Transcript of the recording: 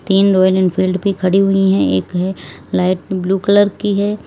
तीन Royal Enfield भी खड़ी हुई है एक है लाइट ब्लू कलर की है।